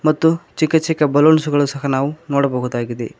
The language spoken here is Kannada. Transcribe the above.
ಮತ್ತು ಚಿಕ್ಕ ಚಿಕ್ಕ ಬಲೂಸ್ಸ್ ಗಳು ಸಹ ನಾವು ನೋಡಬಹುದಾಗಿದೆ.